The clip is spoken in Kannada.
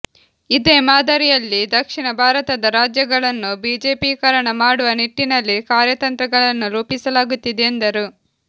ಇದೇ ಮಾದರಿಯಲ್ಲಿ ದಕ್ಷಿಣ ಭಾರತದ ರಾಜ್ಯಗಳನ್ನು ಬಿಜೆಪೀಕರಣ ಮಾಡುವ ನಿಟ್ಟಿನಲ್ಲಿ ಕಾರ್ಯತಂತ್ರಗಳನ್ನು ರೂಪಿಸಲಾಗುತ್ತಿದೆ ಎಂದರು